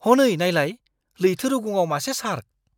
हनै नायलाय! लैथो रुगुंआव मासे शार्क!